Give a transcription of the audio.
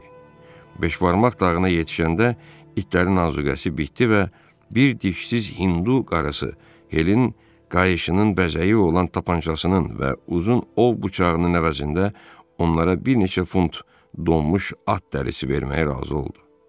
Beşbarmaq dağına yetişəndə itlərin anzuqəsi bitdi və bir dişsiz hindu qarısı Helin qayışının bəzəyi olan tapançasının və uzun ov bıçağının əvəzində onlara bir neçə funt donmuş at dərisi verməyə razı oldu.